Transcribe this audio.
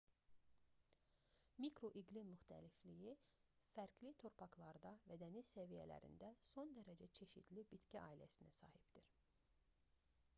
mikroiqlim müxtəlifliyi fərqli torpaqlarda və dəniz səviyyələrində son dərəcə çeşidli bitki ailəsinə sahibdir